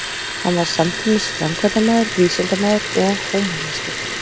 Hann var samtímis framkvæmdamaður, vísindamaður og húmanisti.